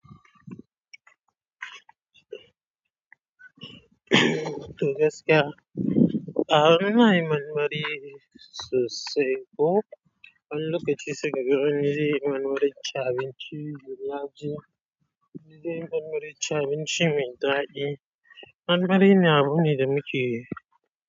To gaskiya. A ina yin marmari sosai ko. Wani lokaci sai kagan wani zeyi marmarin cin abinci. Zeyi marmarin cin abinci mai dadi marmari ne abu ne da muke.